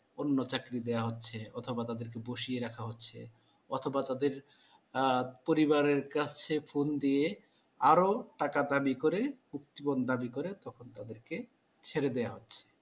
অন্য চাকরি দেওয়া হচ্ছে অথবা তাদেরকে বসিয়ে রাখা হচ্ছে অথবা তাদের আ পরিবারের কাছে phone দিয়ে আরো টাকার দাবি করে মুক্তিপণ দাবি করে তখন তাদেরকে ছেড়ে দেওয়া হচ্ছে।